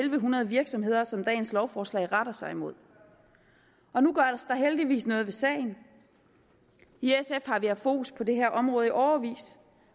en hundrede virksomheder som dagens lovforslag retter sig mod og nu gøres der heldigvis noget ved sagen i sf har vi haft fokus på det her område i årevis